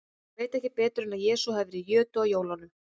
Ég veit ekki betur en að Jesús hafi verið í jötu á jólunum.